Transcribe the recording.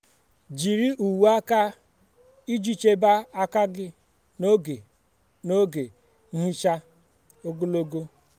jiri uwe aka iji chebe aka gị n'oge oge nhicha ogologo.